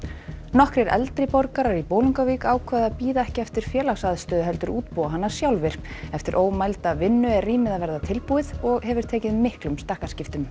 nokkrir eldri borgarar í Bolungarvík ákváðu að bíða ekki eftir félagsaðstöðu heldur útbúa hana sjálfir eftir ómælda vinnu er rýmið að verða tilbúið og hefur tekið miklum stakkaskiptum